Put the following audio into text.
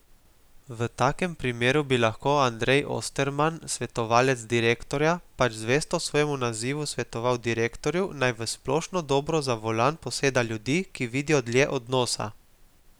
V takem primeru bi lahko Andrej Osterman, svetovalec direktorja, pač zvesto svojemu nazivu svetoval direktorju, naj v splošno dobro za volan poseda ljudi, ki vidijo dlje od nosa.